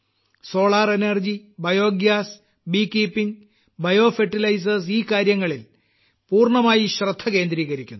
solar energy biogas bee keeping bio fertilisers ഈ കാര്യങ്ങളിൽ പൂർണ്ണമായി ശ്രദ്ധ കേന്ദ്രീകരിക്കുന്നു